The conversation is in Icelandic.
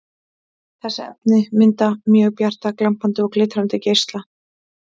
Þessi efni mynda mjög bjarta, glampandi og glitrandi neista.